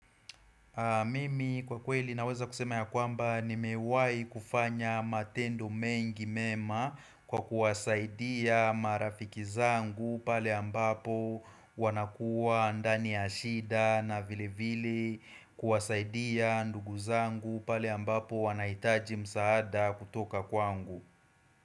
Mimi kwa kweli naweza kusema ya kwamba nimewahi kufanya matendo mengi mema kwa kuwasaidia marafiki zangu pale ambapo wanakuwa ndani ya shida na vilevile kuwasaidia ndugu zangu pale ambapo wanahitaji msaada kutoka kwangu.